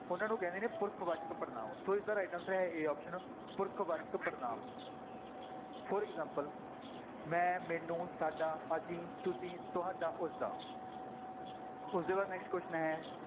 ਉਹਨਾਂ ਨੂੰ ਕਹਿੰਦੇ ਨੇ ਪੁਰਖ ਵਾਚਕ ਪੜ੍ਹਨਾਂਵ, ਸੋ ਇਸਦਾ right answer ਹੈ a option ਪੁਰਖ ਵਾਚਕ ਪੜ੍ਹਨਾਂਵ for example ਮੈਂ, ਮੈਨੂੂੰ, ਸਾਡਾ, ਅਸੀਂ, ਤੁਸੀਂ, ਤੁਹਾਡਾ, ਉਸਦਾ ਉਸਦੇ ਬਾਅਦ next question ਹੈ